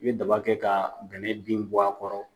I bɛ daba kɛ ka bɛnɛ bin bɔ a kɔrɔ.